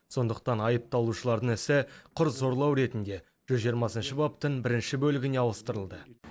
сондықтан айыпталушылардың ісі құр зорлау ретінде жүз жиырмасыншы баптың бірінші бөлігіне ауыстырылды